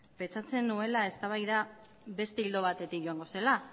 pentsatzen nuela eztabaida beste ildo batetik joango zela